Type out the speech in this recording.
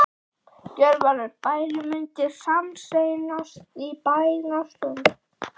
Gjörvallur bærinn mundi sameinast í bænastund.